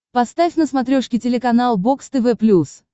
поставь на смотрешке телеканал бокс тв плюс